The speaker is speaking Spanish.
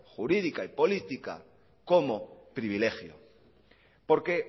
jurídica y política como privilegio porque